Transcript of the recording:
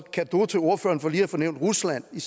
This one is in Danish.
cadeau til ordføreren for lige at få nævnt rusland i